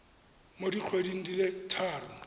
mo dikgweding di le tharo